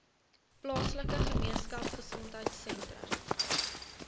plaaslike gemeenskapgesondheid sentrum